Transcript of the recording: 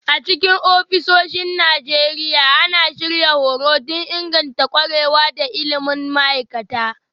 A cikin ofisoshin Najeriya, ana shirya horo don inganta ƙwarewa da ilimin ma'aikata